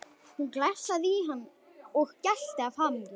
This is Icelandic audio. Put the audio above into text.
Hún glefsaði í hann og gelti af hamingju.